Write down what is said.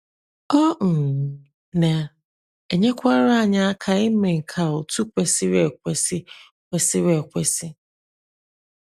Ọ um na - enyekwara anyị aka ime nke a otú kwesịrị ekwesị. kwesịrị ekwesị.